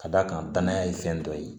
Ka d'a kan danaya ye fɛn dɔ ye